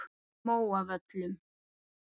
Móavöllum